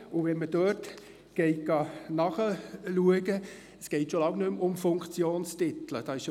Wenn man dort nachliest, geht es schon lange nicht mehr um Funktionstitel.